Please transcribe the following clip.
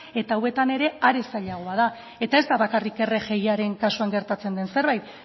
eta hauetan ere are zailagoa da eta ez da bakarrik rgiaren kasuan gertatzen den zerbait